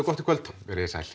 gott í kvöld verið þið sæl